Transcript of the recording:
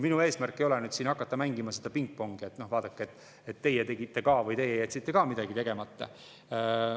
Minu eesmärk ei ole siin hakata mängima seda pingpongi, et vaadake, et teie tegite ka või et teie jätsite ka midagi tegemata.